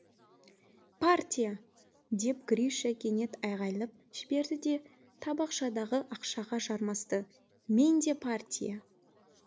партия деп гриша кенет айғайлап жіберді де табақшадағы ақшаға жармасты менде партия